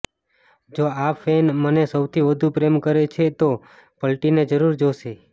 જો આ ફૈન મને સૌથી વધુ પ્રેમ કરે છે તો પલટીને જરૂર જોશે